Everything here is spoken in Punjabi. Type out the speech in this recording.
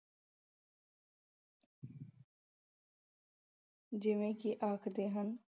ਜਿਵੇਂ ਕਿ ਆਖਦੇ ਹਨ।